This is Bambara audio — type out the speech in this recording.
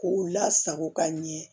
K'u lasago ka ɲɛ